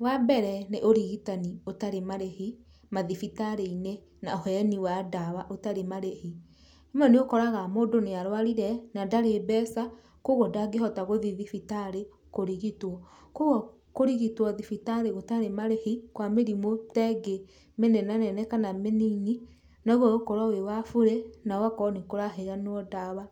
Wa mbere nĩ ũrigitani ũtarĩ marĩhi mathibitarĩ-inĩ, na ũheani wa ndawa ũtarĩ marĩhi, rĩmwe nĩũkoraga mũndũ nĩarwarire, na ndarĩ mbeca, koguo ndangĩhota gũthiĩ thibitarĩ kũrigitwo, koguo kũrigitwo thibitarĩ gũtarĩ marĩhi kwa mĩrimũ tengĩ mĩnenanene kana mĩnini nogũgũkorwo wĩ wa burĩ nogakorwo nĩkũraheanwo ndawa,